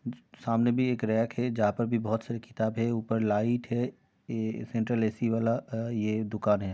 सामने भी एक रैक है जहाँ पर भी बोहोत सारी किताबे हैं। ऊपर लाइट है| ए ये सेन्ट्रल ए सी वाला ये अ दुकान है।